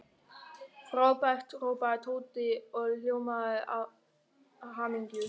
Frábært hrópaði Tóti og ljómaði af hamingju.